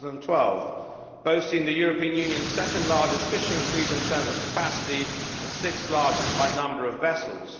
2012. It boasts the European Union's second largest fishing fleet in terms of capacity and sixth largest by number of vessels.